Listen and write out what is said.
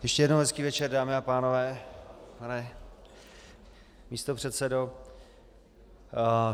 Ještě jednou hezký večer, dámy a pánové, pane místopředsedo.